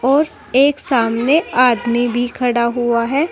और एक सामने आदमी भी खड़ा हुआ है।